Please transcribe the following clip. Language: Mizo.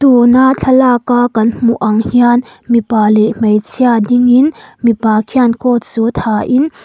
tuna thlalak a kan hmuh ang hian mipa leh hmeichhia ding in mipa khian coat suit ha in--